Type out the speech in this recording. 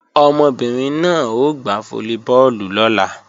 Ọmọbìnrin náà ó gbá fólíbọọ̀lù lọ́la